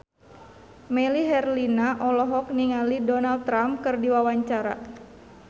Melly Herlina olohok ningali Donald Trump keur diwawancara